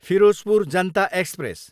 Firozpur Janata express